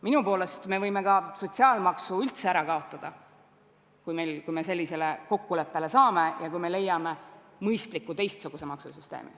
Minu poolest me võime ka sotsiaalmaksu üldse ära kaotada, kui me sellisele kokkuleppele saame ja kui me leiame mõistliku teistsuguse maksusüsteemi.